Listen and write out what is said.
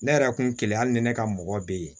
Ne yɛrɛ kun kelen hali ni ne ka mɔgɔ be yen